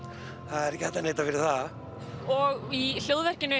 er ekki hægt að neita fyrir það og í